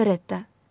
Operetta.